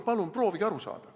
Palun proovige aru saada.